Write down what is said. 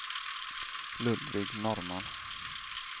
Ludvig Norrman